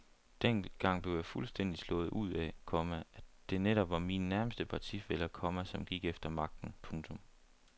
Dengang blev jeg fuldstændig slået ud af, komma at det netop var mine nærmeste partifæller, komma som gik efter magten. punktum